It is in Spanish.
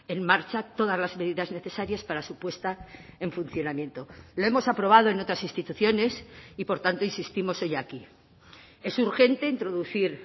en marcha todas las medidas necesarias para su puesta en funcionamiento lo hemos aprobado en otras instituciones y por tanto insistimos hoy aquí es urgente introducir